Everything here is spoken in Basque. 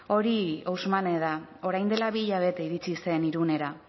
hori ousmane da orain dela bi hilabete iritsi zen irunera